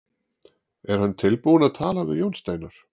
Er hann tilbúinn að tala við Jón Steinar?